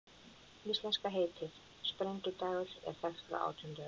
Íslenska heitið, sprengidagur, er þekkt frá átjándu öld.